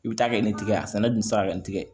I bɛ taa kɛ ni n tɛgɛ sɛnɛ dun tɛ sira kan nin tɛ